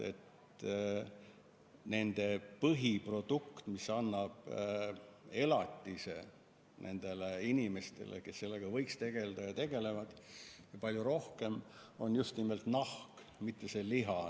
Nende põhiprodukt, mis annab elatise nendele inimestele, kes sellega võiks tegeleda ja tegelevad, on just nimelt nahk, mitte liha.